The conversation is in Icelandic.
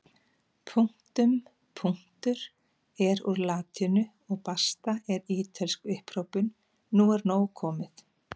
Punktum punktur er úr latínu og basta er ítölsk upphrópun nú er nóg komið!